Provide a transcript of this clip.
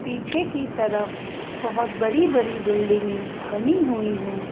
पीछे की तरफ बहुत बड़ी-बड़ी बिल्डिंगें बनी हुई हैं।